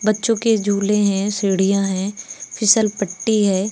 बच्चों के झूले हैं सीढ़ियां हैं फिसल पट्टी है।